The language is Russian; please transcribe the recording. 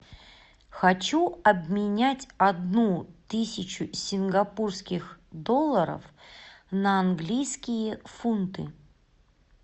хочу обменять одну тысячу сингапурских долларов на английские фунты